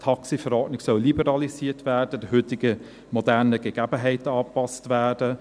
Die TaxiV soll liberalisiert, den heutigen modernen Gegebenheiten angepasst werden.